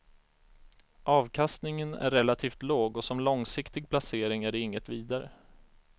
Avkastningen är relativt låg och som långsiktig placering är de inget vidare.